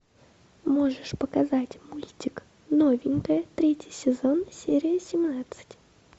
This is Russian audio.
можешь показать мультик новенькая третий сезон серия семнадцать